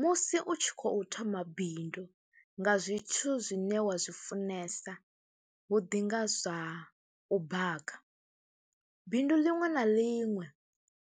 Musi u tshi khou thoma bindu nga zwithu zwine wa zwi funesa, hu ḓi nga zwa u baka. Bindu ḽinwe na ḽinwe